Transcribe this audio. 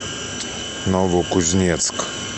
новокузнецк